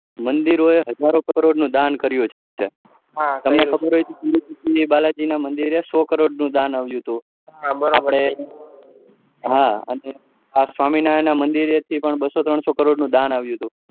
મંદિર એ હજોરો કરોડ નું દાન કર્યું છે હા તમને ખબર હોય તો તિરૂપતિ બાલાજી ના મંદિર એ સૌ કરોડ નું દાન આવ્યું હતું અને સ્વામિનારાયણ ના મંદિર થી બસો ત્રણસો કરોડ નું દાન આવુ હતું